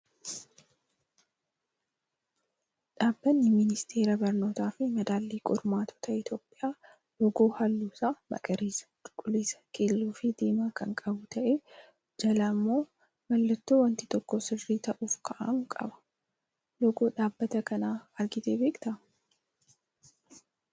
Dhaabbatni ministeera barnootaa fi madaallii qormaatota Itoophiyaa loogoo halluun isa magariisa, cuquliisa, keelloo fi diimaa kan qabu ta'ee jalaa immoo mallattoo wanti tokko sirrii ta'uuf kaa'amu qaba. Loogoo dhaabbata kanaa agartee beektaa?